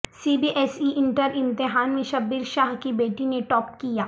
سی B S E inter امتحان میں شبیر شاہ کی بیٹی نے ٹاپ کیا